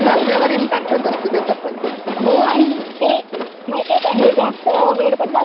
हो आणि हे unintelligible जास्त वेड बीड लावतं अडिक्ट होऊन जात.